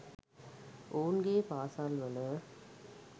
ඔවුන්ගේ පාසල්වල